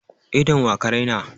Idon wa ka raina?